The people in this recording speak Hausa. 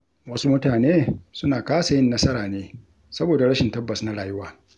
Wasu mutane suna kasa yin nasara ne saboda rashin tabbas na rayuwa.